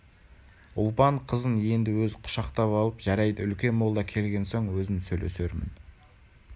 ұлпан қызын енді өзі құшақтап алыпжарайды үлкен молда келген соң өзім сөйлесермін